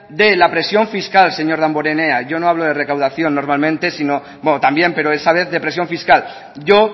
de la presión fiscal señor damborenea yo no hablo de recaudación normalmente bueno también pero esta vez de presión fiscal yo